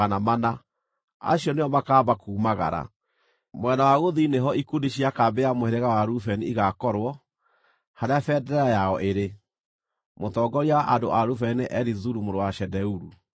Mwena wa gũthini nĩho ikundi cia kambĩ ya mũhĩrĩga wa Rubeni igaakorwo, harĩa bendera yao ĩrĩ. Mũtongoria wa andũ a Rubeni nĩ Elizuru mũrũ wa Shedeuru.